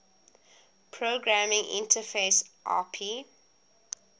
programming interface api